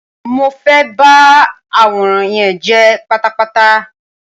Mo fe ba àwòrán yen je pátápátá.